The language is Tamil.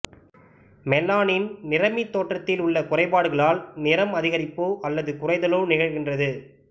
மெலானின் நிறமி தோற்றத்தில் உள்ள குறைபாடுகளால் நிறம் அதிகரிப்போ அல்லது குறைதலோ நிகழ்கின்றது